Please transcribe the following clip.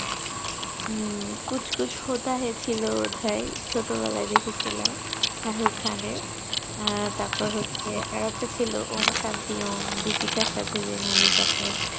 উম couch kuch hotel hain ছিল বোধয় ছোট বেলায় দেখেছিলাম ShahrukKhan এর আহ তারপর হচ্ছে আর একটা ছিল Om sanity omDeepika এর সাথে যেই movie টা